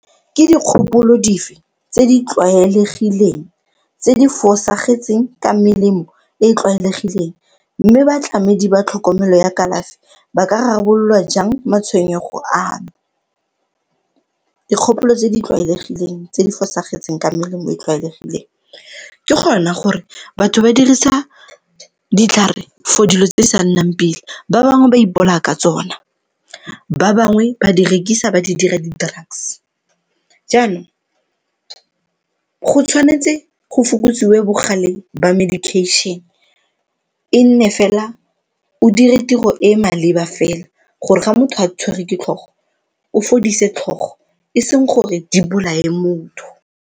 Ke dikgopolo dife tse di tlwaelegileng tse di fosagetseng ka melemo e e tlwaelegileng mme batlamedi ba tlhokomelo ya kalafi ba ka rarabololwa jang matshwenyego ano? Dikgopolo tse di tlwaelegileng tse di fosagetseng ka melemo e tlwaelegileng ke gona gore batho ba dirisa ditlhare for dilo tse di sa nnang pila, ba bangwe ba ipolaya ka tsona, ba bangwe ba di rekisa ba di dira di-drugs. Jaanong, go tshwanetse go fokotsiwe bogale ba medication, e nne fela o dire tiro e e maleba fela gore ga motho a tshwere ke tlhogo o fodise tlhogo e seng gore di bolaye motho.